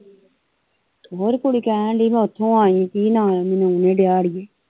ਉਹ ਤੇ ਕੁੜੀ ਕਹਿਣ ਦੀ ਮੈ ਓਥੋਂ ਆਈ ਕੀ ਨਾ ਲਿਆ ਮੈਨੂੰ ਆਉਣ ਨਹੀਂ ਦਿਆ ਅੜੀਏ